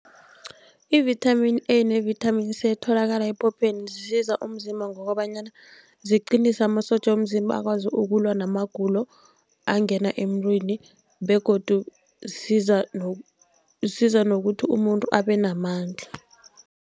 I-vitamin A ne-vitamini C etholakala ephopheni zisiza umzimba ngokobanyana ziqinise amasotja womzimba, akwazi ukulwa namagulo angena emntwini begodu zisiza zisiza nokuthi umuntu abenamandla.